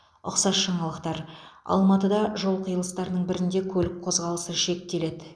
ұқсас жаңалықтар алматыда жол қиылыстарының бірінде көлік қозғалысы шектеледі